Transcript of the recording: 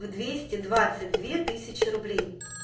в двести двадцать две тысячи рублей